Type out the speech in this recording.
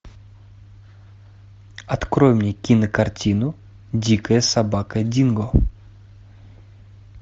открой мне кинокартину дикая собака динго